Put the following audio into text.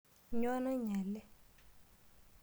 Nyoo nainyale.